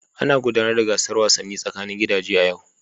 Ana gudanar da gasar wasannin tsakanin gidaje a yau.